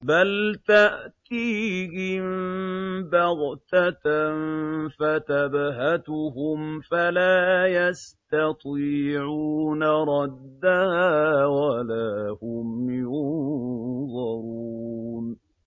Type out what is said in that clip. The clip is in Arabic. بَلْ تَأْتِيهِم بَغْتَةً فَتَبْهَتُهُمْ فَلَا يَسْتَطِيعُونَ رَدَّهَا وَلَا هُمْ يُنظَرُونَ